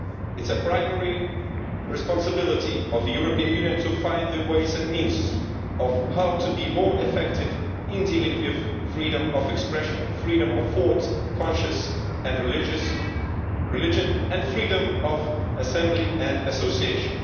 It is a primary responsibility of the European Union to find the ways and means of how to be more effective in dealing with freedom of expression, freedom of thought, conscience and religion and freedom of assembly and association.